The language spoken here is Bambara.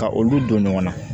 Ka olu don ɲɔgɔn na